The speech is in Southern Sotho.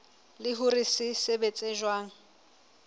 le hore se sebetsa jwang